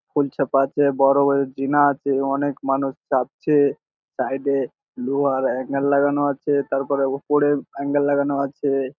ফুলচাপা আছে বোরো জিনা আছে অনেক মানুষ চাপছে সাইড এ তার পর লোহার এঙ্গেল লাগানো আছে তারপরে উপরে অ্যাঙ্গেল লাগানো আছে ।